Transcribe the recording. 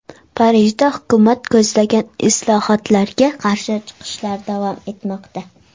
Parijda hukumat ko‘zlagan islohotlarga qarshi chiqishlar davom etmoqda.